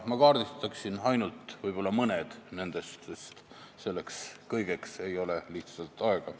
Ma kaardistan ainult mõned nendest, sest kõigeks ei ole lihtsalt aega.